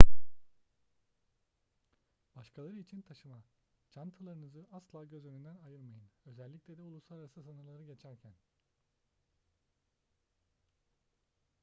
başkaları için taşıma çantalarınızı asla göz önünden ayırmayın özellikle de uluslararası sınırları geçerken